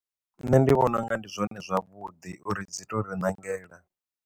Nṋe ndi vhona unga ndi zwone zwavhuḓi uri dzi to ri ṋangela.